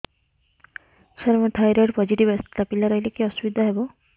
ସାର ମୋର thyroid positive ଆସିଥିଲା ପିଲା ରହିଲେ କି ଅସୁବିଧା ହେବ